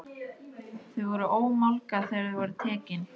Þau voru ómálga þegar þau voru tekin.